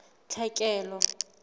tlhekelo